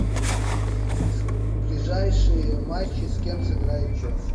ближайшие матчи с кем сыграет челси